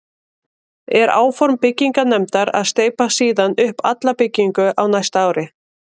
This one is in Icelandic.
Er áform byggingarnefndar að steypa síðan upp alla bygginguna á næsta ári.